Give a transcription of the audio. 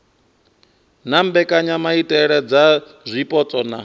na mbekanyamaitele dza zwipotso na